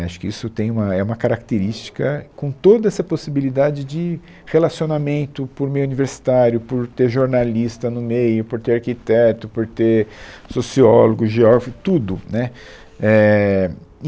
É, Acho que isso tem uma, é uma característica com toda essa possibilidade de relacionamento por meio universitário, por ter jornalista no meio, por ter arquiteto, por ter sociólogo, geógrafo, tudo, né. Éh e